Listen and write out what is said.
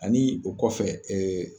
Ani o kɔfɛ ee